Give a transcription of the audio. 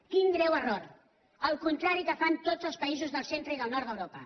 quin greu error al contrari del que fan tots els països del centre i del nord d’europa